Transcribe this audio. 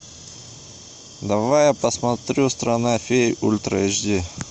давай я посмотрю страна фей ультра эйч ди